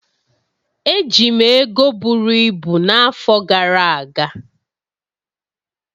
Eji m ego buru ibu n'afọ gara aga.